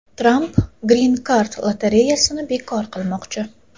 Tramp grin-kart lotereyasini bekor qilmoqchi.